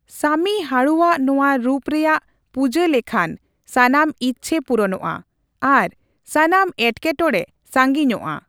ᱥᱟᱢᱤ ᱦᱟᱲᱩᱣᱟᱜ ᱱᱚᱣᱟ ᱨᱩᱯ ᱨᱮᱭᱟᱜ ᱯᱩᱡᱟᱹ ᱞᱮᱠᱷᱟᱱ ᱥᱟᱱᱟᱢ ᱤᱪᱪᱷᱟᱹ ᱯᱩᱨᱩᱱᱚᱜᱼᱟ ᱟᱨ ᱥᱟᱱᱟᱢ ᱮᱴᱠᱮ ᱴᱚᱲᱮ ᱥᱟᱹᱜᱤᱧᱚᱜᱼᱟ